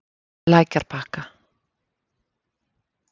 Lækjarbakka